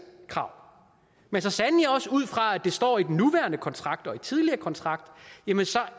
krav men så sandelig også ud fra at det står i den nuværende kontrakt og i den tidligere kontrakt